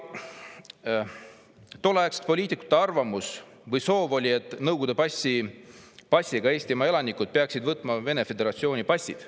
Tolleaegsete poliitikute arvamus või soov oli, et Nõukogude passiga Eestimaa elanikud peaksid võtma Vene föderatsiooni passid.